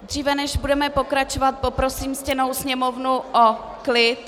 Dříve než budeme pokračovat, poprosím ctěnou Sněmovnu o klid.